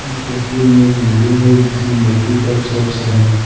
इस तस्वीर में एक बिल्डिंग है जिसमें मल्टीप्ल शॉप्स हैं।